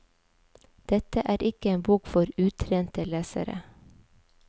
Dette er ikke en bok for utrente lesere.